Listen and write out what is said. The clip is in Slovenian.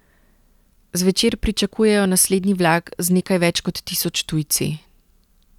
Zvečer pričakujejo naslednji vlak z nekaj več kot tisoč tujci.